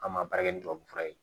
An ma baara kɛ ni tubabu fura ye